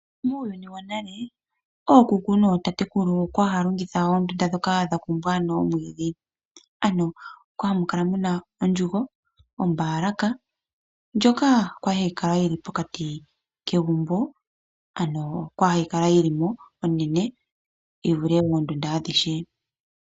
Muuyuni wonale ookuku nootatekulu okwali haya longitha oondunda ndhoka dha kumbwa nomwiidhi. Ano okwali hamukala muna ondjugu, ombaalaka. Ndjoka kwali hayi kala yili pokati kegumbo ano oyo kwali hayi kala yilimo onene yi vule oondunda adhihe.